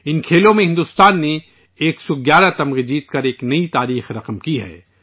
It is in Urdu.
ان کھیلوں میں بھارت نے 111 میڈل جیت کر ایک نئی تاریخ رقم کی ہے